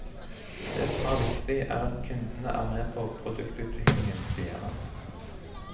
Det som er viktig, er at kundene er med på produktutviklingen, sier han.